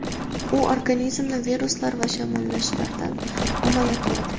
U organizmni viruslar va shamollashlardan himoya qiladi.